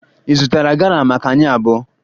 Ị zụtara gala maka anyị abụọ?